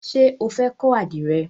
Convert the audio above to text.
Ṣé o fẹ́ kọ́ àdìrẹ?